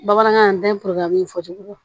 Bamanankan dayiru fɔ cogo